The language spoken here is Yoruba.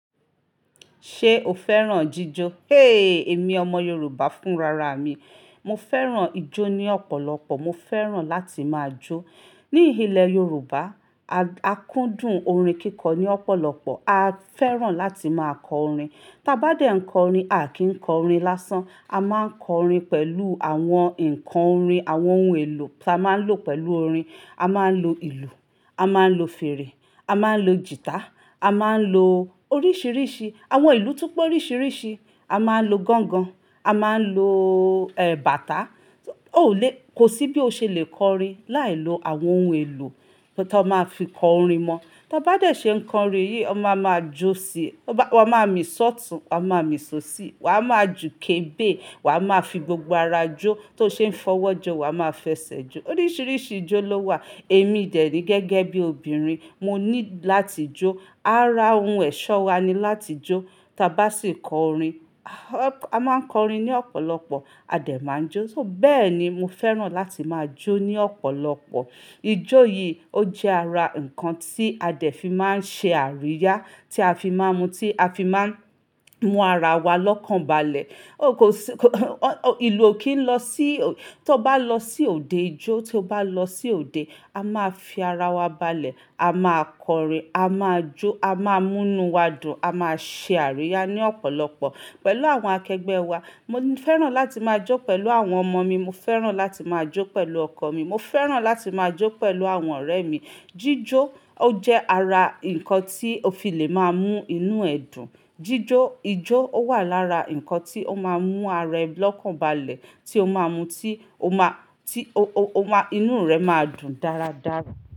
Ṣé o fẹ́ràn ijó? Héee!, Èmi ọmọ Yorùbá fún rara mi. Mo fẹ́ràn ijó ní ọ̀pọ̀lọpọ̀. Mo fẹ́ràn láti máa jó. Ní ilẹ̀ Yorùbá, a kúndùn orin kíkọ ní ọ̀pọ̀lọpọ̀. A fẹ́ràn láti máa kọ orin. Taa bá dé ń kọ orin, a kì í kọ orin lásán. A máa ń kọ orin pẹ̀lú àwọn ǹkan orin, àwọn ohun èlò tí a máa ń lò pẹ̀lú orin. A máa ń lo ìlù, a máa ń lo fèrè, a máa ń lo gìtá, a máa ń lo oríṣìíríṣìí, àwọn ìlú tó p'oríṣìíríṣìí. A máa ń lo gángan, a máa ń lo, bàtà. Kò sí bí o ṣe le kọ'rin láìlo àwọn ohun èlò tó máa fi kọ orin won. Tí a bá dé ṣe ń kọ orin yìí, aa máa jó sí i. Wa a máa mì sọ́tùn, wa a máa mì sosi. Wà á máa jù'kébè, wà á máa fi gbogbo ara jó. Tó ṣe ń fọwọ́ jọ, wà á máa fẹsẹ̀ jó. Oríṣìíríṣìí ijó ló wà. Èmi dẹ́ nií gẹ́gẹ́ bí obìnrin, mo nílo láti jó. Ara ohun ẹ̀ṣọ́ wa ni láti jó. Tí a bá sì kọ orin, a máa ń kọ orin ní ọ̀pọ̀lọpọ̀, a dẹ̀ máa n jó. Bẹ́ẹ̀ ni mo fẹ́ràn láti máa jó ní ọ̀pọ̀lọpọ̀. Ijó yìí ó jẹ́ ara ǹkan tí a dẹ̀ fi máa ń ṣe àríyá, tí a fi máa ń mú ara wa lọ́kànbalẹ̀. To bá lọ sí òde ijo a máa fi ara wa lokan balẹ̀, a máa kọ orin, a máa jó, a máa mú inú wa dùn, a máa ṣe àríyá ní ọ̀pọ̀lọpọ̀ pẹ̀lú àwọn akẹgbẹ́ wa. Mo fẹ́ràn láti máa jó pẹ̀lú àwọn ọmọ mi. Mo fẹ́ràn láti máa jó pẹ̀lú ọkọ mi. Mo fẹ́ràn láti máa jó pẹ̀lú àwọn ọ̀rẹ́ mi. Ijo jẹ́ ara ǹkan tí o fi lè máa mú inú ẹ dùn. Jíjó, ijó ó wà lára ǹkan tí ó máa ń mú ara ẹ lọ́kànbalẹ̀, tí ó máa ń mú tí ó máa, tí ó, ó, ó máa, inú rẹ máa dùn dáradára.